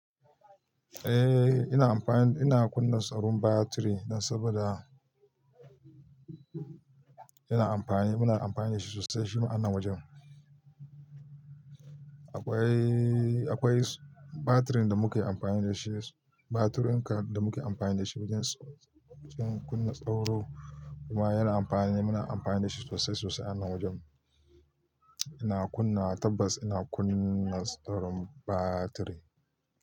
Eh, ina amfani, ina kunna tsaron batiri saboda yana amfani, muna amfani da shi sosai shima a nan wajen. Akwai, akwai batirin da muke amfani da shi, batirin da muke amfani da shi wajen, wajen kunna tsaro kuma yana amfani, muna amfani da shi sosai sosai a nan wajen. Ina kunna tabbas ina kunna tsaron batiri.